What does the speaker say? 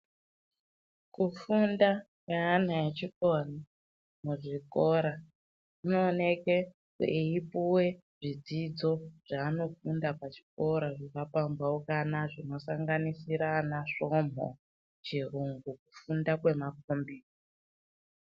Kufunda kweana echikora muzvikora kunooneke kweipuve zvidzidzo zvaanofunda pachikora zvakapambaukana. Zvinosanganisira anasvomho chirungu kufunda kwemakombiyuta.